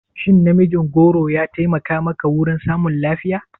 Shin namijin goro ya taimaka maka wurin samun lafiya?